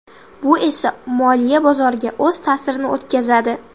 Bu esa moliya bozoriga o‘z ta’sirini o‘tkazadi.